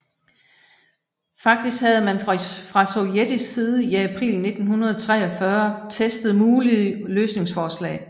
Faktisk havde man fra sovjetisk side i april 1943 testet mulige løsningsforslag